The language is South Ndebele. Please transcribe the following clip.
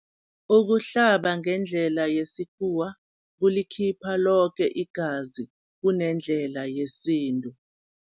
Ukuhlaba ngendlela yesikhuwa kulikhipha loke igazi kunendlela yesintu.